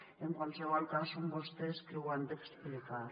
i en qualsevol cas són vostès qui ho han d’explicar